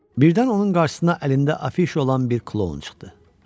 Birdən onun qarşısına əlində afişa olan bir kloun çıxdı.